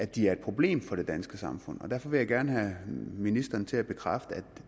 de er et problem for det danske samfund derfor vil jeg gerne have ministeren til at bekræfte at